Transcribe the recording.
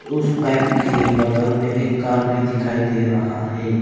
उस बाइक के बगल में एक कार भी दिखाई दे रहा है।